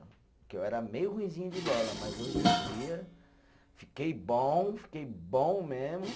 Porque eu era meio ruinzinho de bola, mas hoje em dia fiquei bom, fiquei bom mesmo.